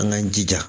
An k'an jija